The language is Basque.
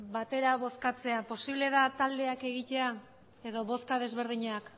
batera bozkatzea proposatzen dute posible da taldeak egitea edo bozka ezberdinak